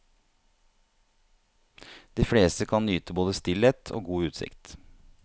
De fleste kan nyte både stillhet og god utsikt.